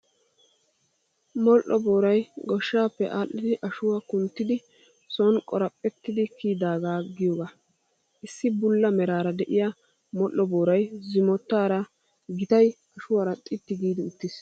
Modhdho booray goshshaappe adhdhidi ashuwaa kunttidi sooni qoraphetidi kiyidaagaa giyoogaa. Issi bulla meraara de'iyaa modhdho booray zimotaara gittay ashuwaara xitti giidi eqqiis.